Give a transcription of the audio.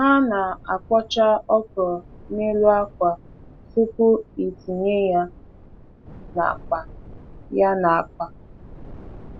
Ha na-akpọcha ọkrọ n'elu akwa tupu itinye ya n'akpa. ya n'akpa.